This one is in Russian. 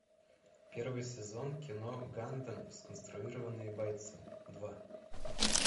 первый сезон кино гандам сконструированные бойцы два